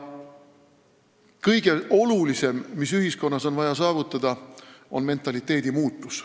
Kõige olulisem, mis ühiskonnas on vaja saavutada, on mentaliteedi muutus.